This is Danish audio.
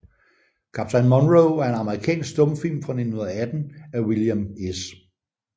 Kaptajn Monroe er en amerikansk stumfilm fra 1918 af William S